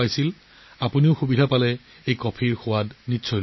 যেতিয়াই সুযোগ পায় তেতিয়াই আৰাকু কফি উপভোগ কৰিব লাগিব